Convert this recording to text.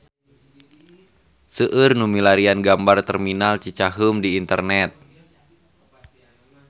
Seueur nu milarian gambar Terminal Cicaheum di internet